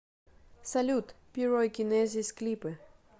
салют пирокинезис клипы